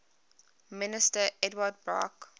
minister ehud barak